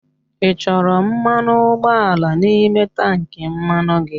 Ị chọrọ mmanụ ụgbọala n'ime tankị mmanụ gị?